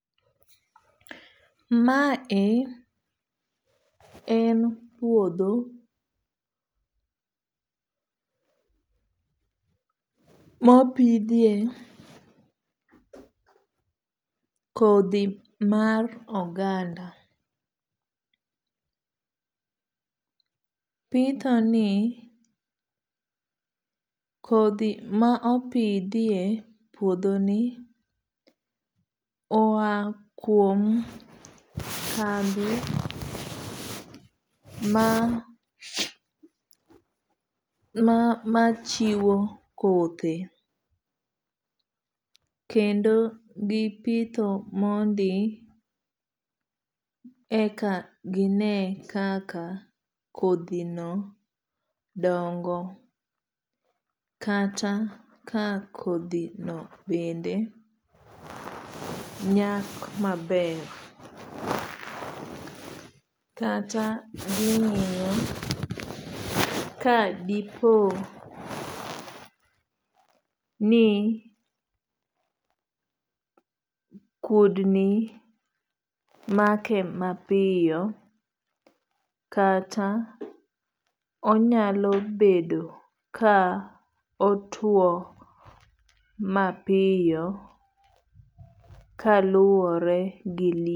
Ma e en puodho mopidhie kodhi mar oganda. Pitho ni kodhi ma opidhie puodho ni oa kuom kambi ma chiwo kothe. Kendo gipitho mondi eka gine kaka kodhi no dongo kata ka kodhi no bende nyak maber. Kata ging'iyo ni ka dipo ni kudni make mapiyo kata onyalo bedo ka otuo mapiyo kaluwore gi.